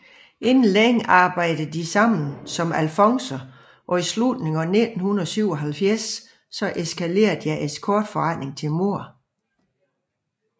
Inden længe arbejdede de sammen som alfonser og i slutningen af 1977 eskalere deres escortforretning til mord